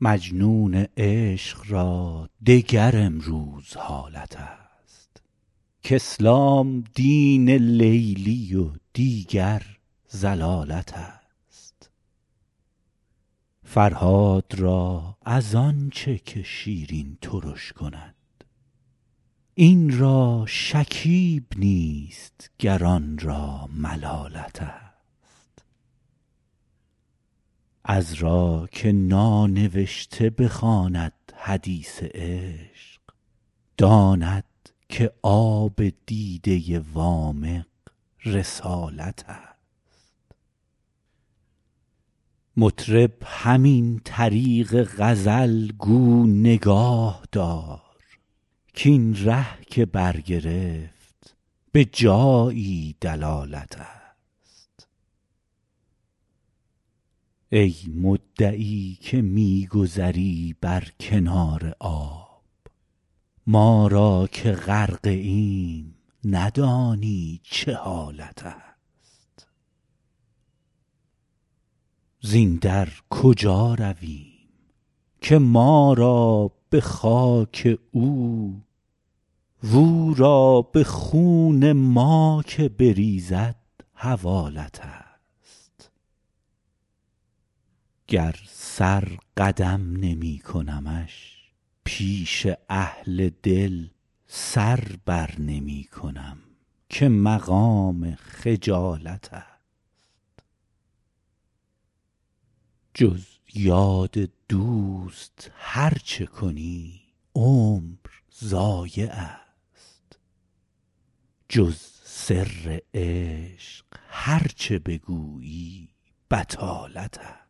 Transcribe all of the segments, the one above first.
مجنون عشق را دگر امروز حالت است کاسلام دین لیلی و دیگر ضلالت است فرهاد را از آن چه که شیرین ترش کند این را شکیب نیست گر آن را ملالت است عذرا که نانوشته بخواند حدیث عشق داند که آب دیده وامق رسالت است مطرب همین طریق غزل گو نگاه دار کاین ره که برگرفت به جایی دلالت است ای مدعی که می گذری بر کنار آب ما را که غرقه ایم ندانی چه حالت است زین در کجا رویم که ما را به خاک او و او را به خون ما که بریزد حوالت است گر سر قدم نمی کنمش پیش اهل دل سر بر نمی کنم که مقام خجالت است جز یاد دوست هر چه کنی عمر ضایع است جز سر عشق هر چه بگویی بطالت است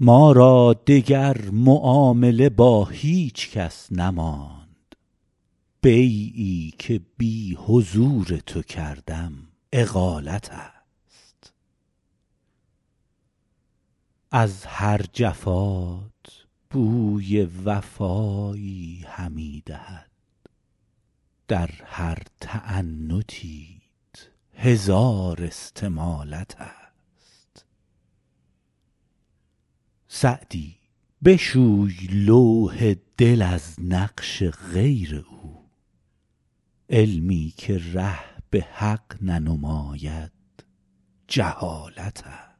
ما را دگر معامله با هیچ کس نماند بیعی که بی حضور تو کردم اقالت است از هر جفات بوی وفایی همی دهد در هر تعنتیت هزار استمالت است سعدی بشوی لوح دل از نقش غیر او علمی که ره به حق ننماید جهالت است